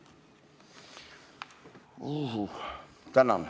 Tänan!